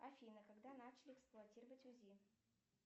афина когда начали эксплуатировать узи